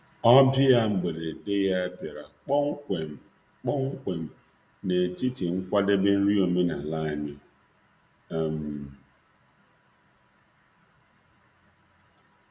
Ọbịa mberede ya bịara kpọmkwem kpọmkwem n’etiti nkwadebe nri omenala anyị. um